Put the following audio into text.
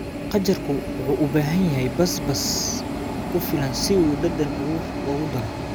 Qajaarku wuxuu u baahan yahay basbaas ku filan si uu dhadhan ugu daro.